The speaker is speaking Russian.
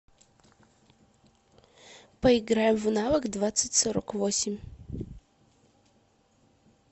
поиграем в навык двадцать сорок восемь